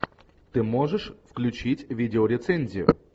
ты можешь включить видеорецензию